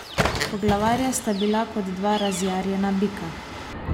Poglavarja sta bila kot dva razjarjena bika.